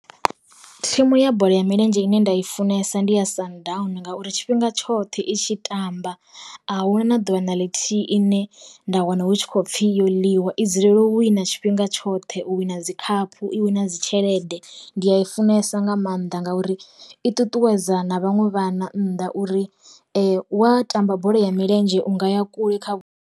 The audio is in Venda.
Thimu ya bola ya milenzhe ine nda i funesa ndi ya sundowns, ngauri tshifhinga tshoṱhe i tshi tamba, a huna na ḓuvha na ḽithihi ine nda wana hu khou pfhi yo ḽiwa, i dzulele hu si na tshifhinga tshifhinga tshoṱhe u wina dzi khaphu i wina dzi tshelede nda i funesa nga maanḓa ngauri i ṱuṱuwedza na vhaṅwe vha na nnḓa uri, wa tamba bola ya milenzhe unga ya kule kha vhu.